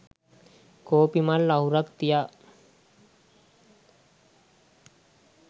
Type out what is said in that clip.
කෝපි මල් අහුරක් තියා